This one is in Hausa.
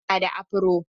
Iman na da afro.